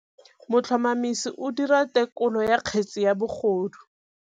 Motlhotlhomisi o dira têkolô ya kgetse ya bogodu.